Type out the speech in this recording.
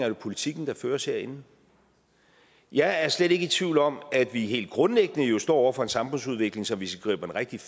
den politik der føres herinde jeg er slet ikke i tvivl om at vi helt grundlæggende står over for en samfundsudvikling som hvis vi griber den rigtigt